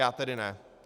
Já tedy ne.